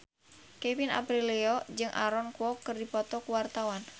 Kevin Aprilio jeung Aaron Kwok keur dipoto ku wartawan